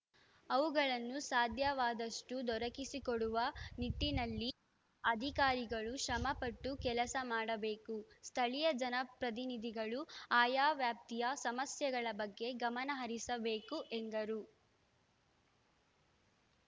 ಅವುಗಳನ್ನು ಸಾಧ್ಯವಾದಷ್ಟುದೊರಕಿಸಿಕೊಡುವ ನಿಟ್ಟಿನಲ್ಲಿ ಅಧಿಕಾರಿಗಳು ಶ್ರಮಪಟ್ಟು ಕೆಲಸ ಮಾಡಬೇಕು ಸ್ಥಳೀಯ ಜನಪ್ರತಿನಿಧಿಗಳು ಆಯಾ ವ್ಯಾಪ್ತಿಯ ಸಮಸ್ಯೆಗಳ ಬಗ್ಗೆ ಗಮನ ಹರಿಸಬೇಕು ಎಂದರು